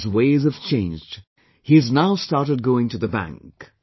His ways have changed, he has now started going to the bank